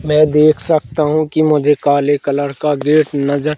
मैं देख सकता हूँ कि मुझे काले कलर का गेट नजर--